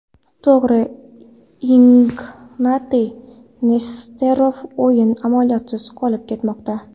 To‘g‘ri, Ignatiy Nesterov o‘yin amaliyotisiz qolib ketmoqda.